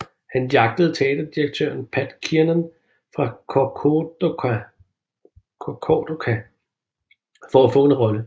Han jagtede teaterdirektøren Pat Kiernan fra Corcadorca for at få en rolle